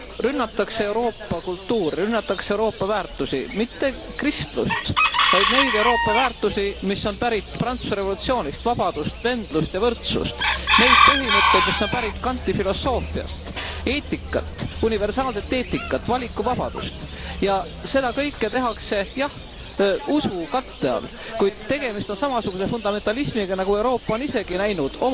Rünnatakse Euroopa kultuuri, rünnatakse Euroopa väärtusi, mitte kristlust, vaid neid Euroopa väärtusi, mis on pärit Prantsuse revolutsioonist vabadust, vendlust ja võrdsust neid põhimõtteid, mis on pärit Kanti filosoofiast, eetikat, universaalset eetikat, valikuvabadust, ja seda kõike tehakse, jah, usu katte all, kuid tegemist on samasuguse fundamentalismiga, nagu Euroopa on isegi näinud.